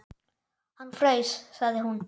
Hann fraus, sagði hún.